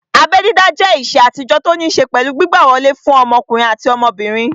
Abẹ́ dídá jẹ́ ìṣe àtijọ́ tó ní ṣé pẹ̀lú gbígbà wọlé fún ọmọkùnrin àti ọmọbìnrin